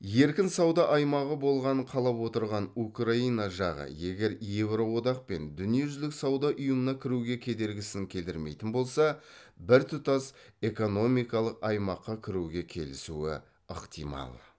еркін сауда аймағы болғанын қалап отырған украина жағы егер еуроодақ пен дүниежүзілік сауда ұйымына кіруге кедергісін келтірмейтін болса біртұтас экономикалық аймаққа кіруге келісуі ықтимал